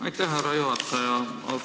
Aitäh, härra juhataja!